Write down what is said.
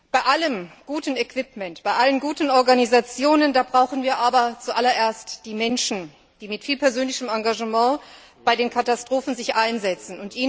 Bei aller guter Ausrüstung, bei allen guten Organisationen brauchen wir aber zu allererst die Menschen, die sich mit viel persönlichem Engagement bei den Katastrophen einsetzen.